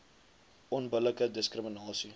onbillike diskri minasie